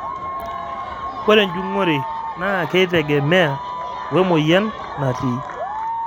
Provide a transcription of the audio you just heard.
ore enjung'ore naaa keitegemea wemoyian naatii